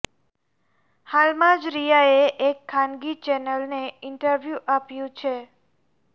હાલમાં જ રિયાએ એક ખાનગી ચેનલને ઇન્ટરવ્યૂ આપ્યું છે